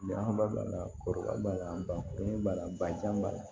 b'a la bakurunba la bajan b'a la